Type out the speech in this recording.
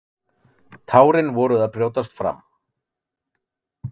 Tárin voru að brjótast fram.